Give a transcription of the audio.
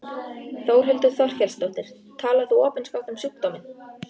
Þórhildur Þorkelsdóttir: Talar þú opinskátt um sjúkdóminn?